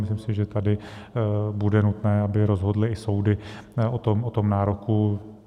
Myslím si, že tady bude nutné, aby rozhodly i soudy o tom nároku.